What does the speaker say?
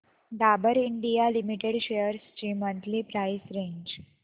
Dabur India limited shares ची monthly price range